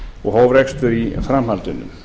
og hóf rekstur í framhaldinu